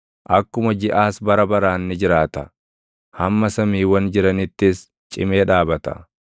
akkuma jiʼaas bara baraan ni jiraata; hamma samiiwwan jiranittis cimee dhaabata.”